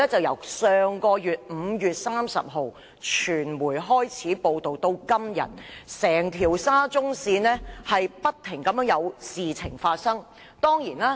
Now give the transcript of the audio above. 由5月30日傳媒開始報道至今，整條沙中線不斷出現事故。